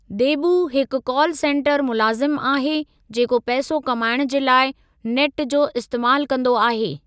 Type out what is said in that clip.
देबू हिकु call centre मुलाज़िमु आहे जेको पैसो कमायणु जे लाइ नेट जो इस्तैमालु कंदो आहे।